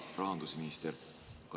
Hea rahandusminister!